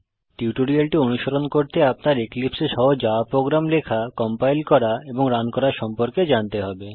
টিউটোরিয়ালটি অনুসরণ করতে আপনার এক্লিপসে এ সহজ জাভা প্রোগ্রাম লেখা কম্পাইল করা এবং রান করা সম্পর্কে জানতে হবে